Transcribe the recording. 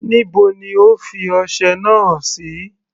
Níbo ni O fi ọsẹ náà sí.